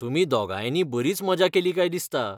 तुमी दोगांयनी बरीच मजा केली काय दिसता.